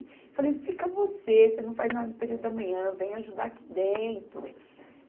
Falei, fica você, você não faz nada no período da manhã, vem ajudar aqui dentro.